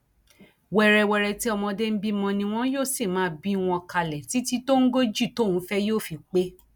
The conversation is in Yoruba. wẹrẹwẹrẹ tí ọmọdé ń bímọ ni wọn yóò sì máa bí wọn kalẹ títí tóńgòjí tóun fẹ yóò fi pé